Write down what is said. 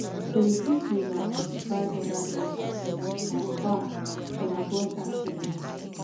so you fit use am notify oda drivers from far to avoid accident